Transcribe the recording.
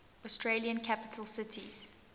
australian capital cities